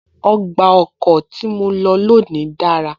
Ọgbà ọkọ̀ tí mo lọ lónìí dára